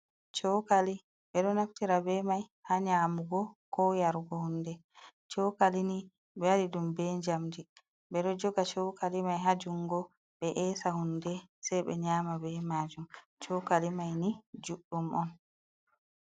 Chokali ɓeɗo naftira be mai ha nyamugo ko yarugo hunde, chokali ni ɓe waɗi ɗum be jamdi ɓeɗo joga chokali mai ha jungo ɓe esa hunde sai ɓe nyama be majum, cokali mai ni juɗdum on.